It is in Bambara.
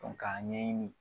N fa ka ɲɛɲini